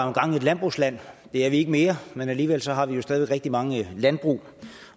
engang et landbrugsland det er vi ikke mere men alligevel har vi jo stadig væk rigtig mange landbrug